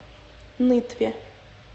нытве